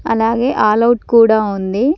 అలాగే all out కూడా ఉంది.